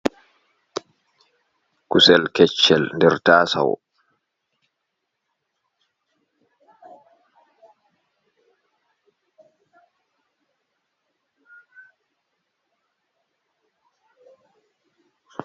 Kusel keccel nder taasawo.